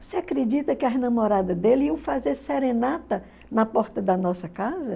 Você acredita que as namoradas dele iam fazer serenata na porta da nossa casa?